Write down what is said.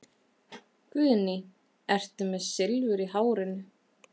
Guðný: Ertu með Silfur í hárinu?